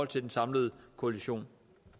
til den samlede koalition